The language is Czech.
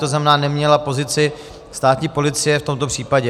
To znamená, neměla pozici státní policie v tomto případě.